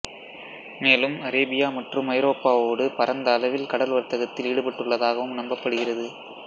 மேலும் அரேபியா மற்றும் ஐரோப்பாவோடு பரந்த அளவில் கடல் வர்த்தகத்தில் ஈடுபட்டதாகவும் நம்பப்படுகிறது